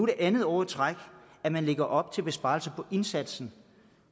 det andet år i træk at man lægger op til besparelser på indsatsen